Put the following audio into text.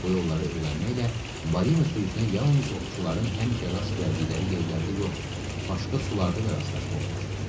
Bu yolları öyrənməklə balina sürüsünə yalnız ovçuların həmişə rast gəldikləri yerlərdə yox, başqa sularda da rastlaşmaq olar.